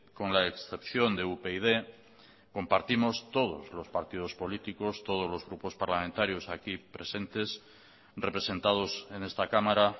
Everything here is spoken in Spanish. con la excepción de upyd compartimos todos los partidos políticos todos los grupos parlamentarios aquí presentes representados en esta cámara